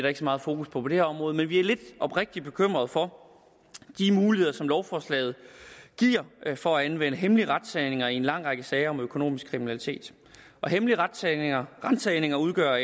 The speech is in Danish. ikke så meget fokus på på det her område men vi er oprigtigt bekymrede for de muligheder som lovforslaget giver for at anvende hemmelige ransagninger i en lang række sager om økonomisk kriminalitet hemmelige ransagninger ransagninger udgør